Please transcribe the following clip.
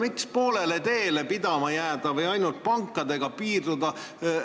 Miks poolele teele pidama jääda või ainult pankadega piirduda?